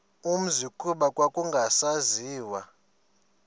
umzi kuba kwakungasaziwa